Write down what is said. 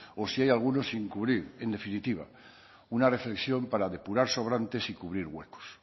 o si hay alguno sin cubrir en definitiva una reflexión para depurar sobrantes y cubrir huecos